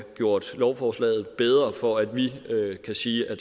gjort lovforslaget bedre for at vi kan sige at